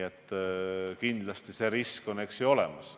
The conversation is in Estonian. Kindlasti on risk olemas.